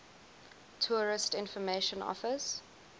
tourist information office